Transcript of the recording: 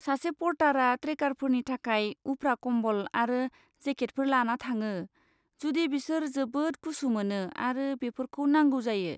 सासे पर्तारा ट्रेकारफोरनि थाखाय उफ्रा कम्बल आरो जेकेटफोर लाना थाङो, जुदि बिसोर जोबोद गुसु मोनो आरो बेफोरखौ नांगौ जायो।